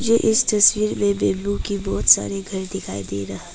इस तस्वीर में बंबू का बहुत सारे घर दिखाई दे रहा--